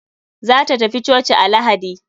Za ta tafi coci a lahadi.